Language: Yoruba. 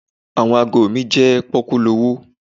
Àwọn ago mi jẹ́ pọ́kúlowó.